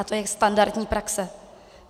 A to je standardní praxe.